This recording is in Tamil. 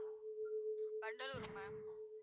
வண்டலூர் ma'am